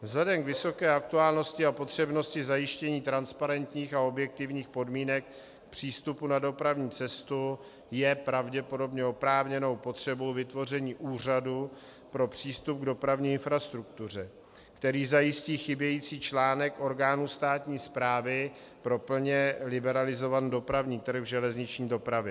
Vzhledem k vysoké aktuálnosti a potřebnosti zajištění transparentních a objektivních podmínek přístupu na dopravní cestu je pravděpodobně oprávněnou potřebou vytvoření Úřadu pro přístup k dopravní infrastruktuře, který zajistí chybějící článek orgánu státní správy pro plně liberalizovaný dopravní trh v železniční dopravě.